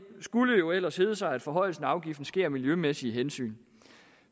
skulle jo ellers hedde sig at forhøjelsen af afgiften sker af miljømæssige hensyn